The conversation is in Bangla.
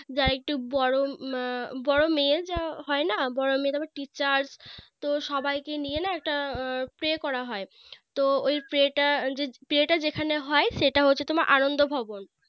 যারা একটু বড়ো হম বড়ো মেয়ের যা হয়না বড়ো মেয়ে তারপর Teachers তো সবাইকে নিয়ে না একটা Pray করা হয় তো ওই Pray টা যে Pray টা যেখানে হয় সেটা হচ্ছে তোমার আনন্দ ভবন